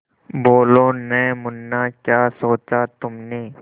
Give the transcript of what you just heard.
बोलो न मुन्ना क्या सोचा तुमने